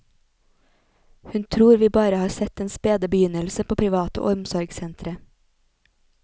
Hun tror vi bare har sett den spede begynnelse på private omsorgssentre.